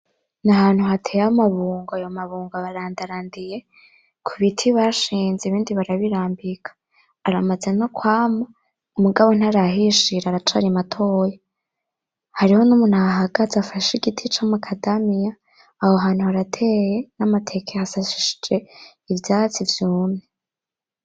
N'ahantu hateye amabungo. Ayo mabungo ararandarandiye kubiti bashinze ibindi barabirambika aramaze nokwama, mugabo ntarahishira aracari matoya. Hariho numuntu ahahagaze, afashe igiti camakadamya. Aho hantu harateye namateke hasasishije ivyatsi vyumye.